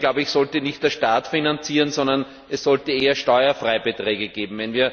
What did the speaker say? Hier sollte nicht der Staat finanzieren, sondern es sollte vielmehr Steuerfreibeträge geben.